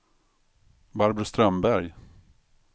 Barbro Strömberg